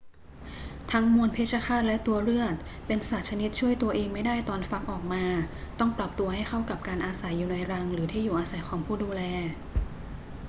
ทั้งมวนเพชฌฆาตและตัวเรือด เป็นสัตว์ชนิดช่วยตัวเองไม่ได้ตอนฟักออกมา ต้องปรับตัวให้เข้ากับการอาศัยอยู่ในรังหรือที่อยู่อาศัยของผู้ดูแล